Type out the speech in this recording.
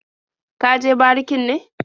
Ka je barikin ne?